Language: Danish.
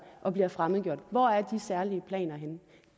og bliver fremmedgjorte hvor er de særlige planer henne